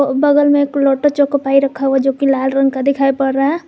और बगल में एक लोटो चोको पाई रखा हुआ जो कि लाल रंग का दिखाई पड़ रहा है।